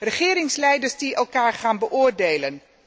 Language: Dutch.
Regeringsleiders die elkaar gaan beoordelen.